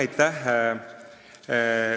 Aitäh!